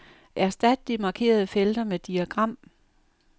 Erstat de markerede felter med diagram.